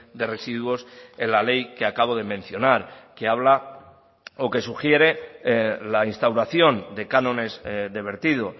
de residuos en la ley que acabo de mencionar que habla o que sugiere la instauración de cánones de vertido